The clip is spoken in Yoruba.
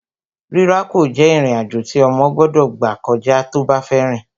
Rírákò jẹ́ ìrìn-àjò tí ọmọ gbọ́dọ̀ gbà kọjá tó bá fẹ́ rìn